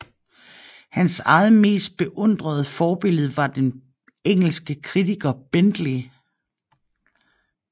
Hans eget mest beundrede forbillede var den engelske kritiker Bentley